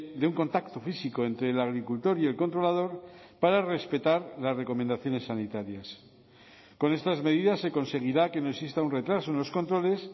de un contacto físico entre el agricultor y el controlador para respetar las recomendaciones sanitarias con estas medidas se conseguirá que no exista un retraso en los controles